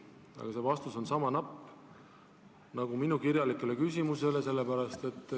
Aga teie vastus on sama napp, nagu andsite minu kirjalikule küsimusele.